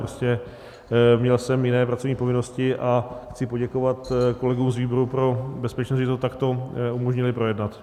Prostě měl jsem jiné pracovní povinnosti a chci poděkovat kolegům z výboru pro bezpečnost, že to takto umožnili projednat.